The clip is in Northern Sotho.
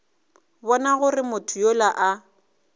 bona gore motho yola a